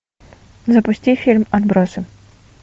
запусти фильм отбросы